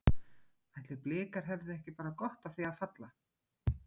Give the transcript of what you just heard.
Ætli Blikar hefðu ekki bara gott af því að falla?